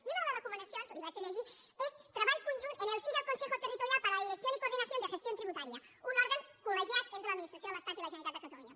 i una de les recoma·nacions la hi llegiré és treball conjunt en el si del consejo territorial para la dirección y coordinación de gestión tributaria un òrgan colministració de l’estat i la generalitat de catalunya